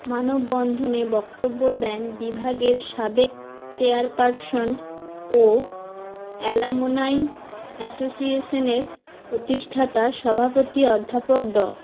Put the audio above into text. মানববন্ধনে বক্তব্য দেন বিভাগের সাবেক চেয়ারপারসন ও অ্যালামনাই অ্যাসোসিয়েশনের প্রতিষ্ঠাতা সভাপতি অধ্যাপক ড